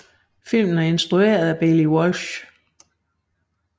Filmen er instrueret af Baillie Walsh